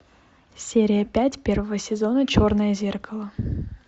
серия пять первого сезона черное зеркало